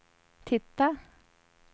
titta